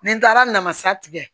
Ni n taara namasa tigɛ